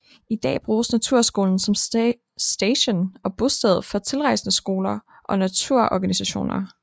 I dag bruges Naturskolen som station og bosted for tilrejsende skoler og naturorganisationer